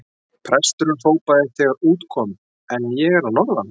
Presturinn hrópaði þegar út kom: En ég er að norðan!